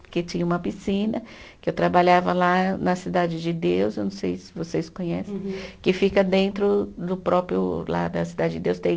Porque tinha uma piscina, que eu trabalhava lá na Cidade de Deus, eu não sei se vocês conhecem, que fica dentro do próprio, lá da Cidade de Deus tem